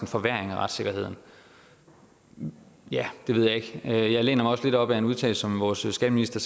forværring af retssikkerheden ja det ved jeg ikke men jeg læner mig også lidt op ad en udtalelse som vores skatteminister